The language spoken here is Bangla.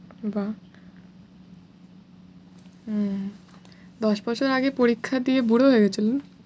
বাহ উম দশ বছর আগে পরীক্ষা দিয়ে বুড়ো হয়ে গেছিলেন?